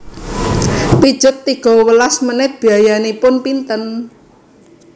Pijet tigo welas menit biayanipun pinten